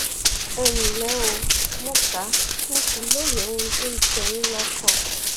ẹ ǹlẹ o mo kà mo sì lóye ohun tó ń jẹ yín lọkàn